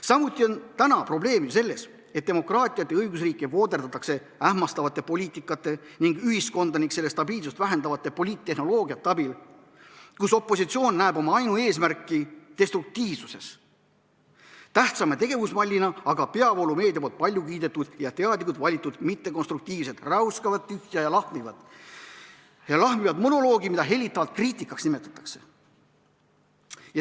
Samuti on probleem ju selles, et demokraatiat ja õigusriiki vooderdatakse ähmastavate poliitikasuundade ning ühiskonda ja selle stabiilsust vähendava poliittehnoloogia abil, kus opositsioon näeb oma ainueesmärki destruktiivsuses, tähtsama tegevusmallina aga peavoolumeedia palju kiidetud ja teadlikult valitud mittekonstruktiivset räuskavat tühja ja lahmivat monoloogi, mida hellitavalt kriitikaks nimetatakse.